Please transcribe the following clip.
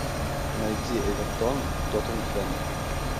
найти эвертон тоттенхэм